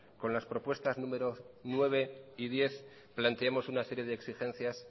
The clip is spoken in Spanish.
con las propuestas número nueve y diez planteemos una serie de exigencias